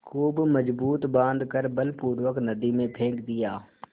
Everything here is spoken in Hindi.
खूब मजबूत बॉँध कर बलपूर्वक नदी में फेंक दिया